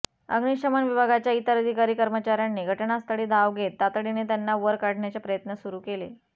अग्निशमन विभागाच्या इतर अधिकारी कर्मचाऱ्यांनी घटनास्थळी धाव घेत तातडीने त्यांना वर काढण्याचे प्रयत्न सुरू केले